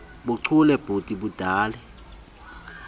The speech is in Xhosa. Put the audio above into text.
buchule buthi budale